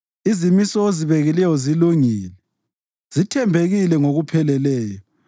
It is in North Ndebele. Izimiso ozibekileyo zilungile; zithembekile ngokupheleleyo.